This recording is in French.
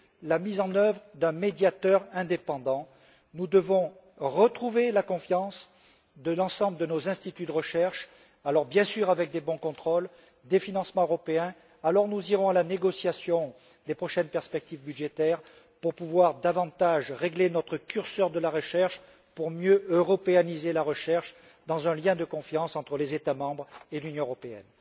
la mise en œuvre d'un médiateur indépendant, nous devons retrouver la confiance de l'ensemble de nos instituts de recherche, bien sûr avec de bons contrôles et des financements européens nous irons alors à la négociation des prochaines perspectives budgétaires pour pouvoir davantage régler notre curseur de la recherche afin de mieux européaniser la recherche dans un lien de confiance entre les États membres et l'Union européenne.